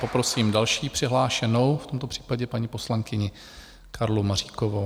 Poprosím další přihlášenou, v tomto případě paní poslankyni Karlu Maříkovou.